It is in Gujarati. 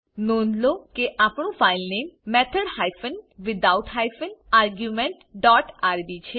નોંધ લો કે આપણું final name method hyphen without hyphen argument dot RB છે